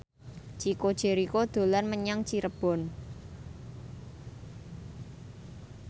Chico Jericho dolan menyang Cirebon